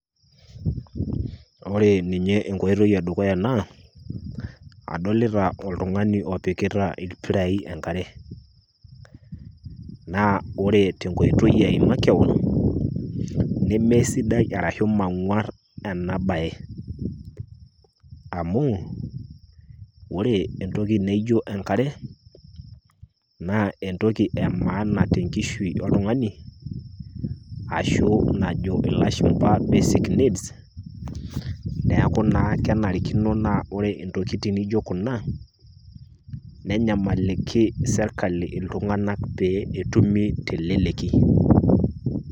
Ore ninye enkoitoi e dukuya naa, adolita oltung'ani opikita ilpirai enkare. Naa ore te enkoitoi ai makewan, ne me sidai arashu mang'war ena bae. Amu ore entoki naijo enkare naa entoki e maana te enkishui oltung'ani, ashu najo ilashumba basic need. Neaku naa kenarikino naa ore intokitin naijo Kuna, nenyamaliki serkali iltung'ana pee etumi teleleki.